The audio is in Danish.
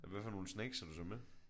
Hvad for nogle snacks havde du så med?